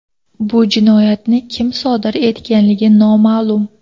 Bu jinoyatni kim sodir etganligi noma’lum.